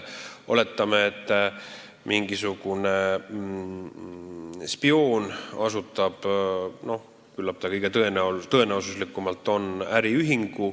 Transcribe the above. Oletame, et mingisugune spioon asutab äriühingu, mis on kõige tõenäolisem.